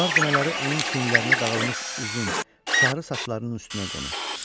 Qar dənələri onun çiynlərinə dağılmış uzun, sarı saçlarının üstünə qonur.